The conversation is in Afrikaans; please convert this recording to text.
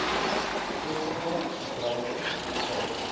skeppende bedrywe film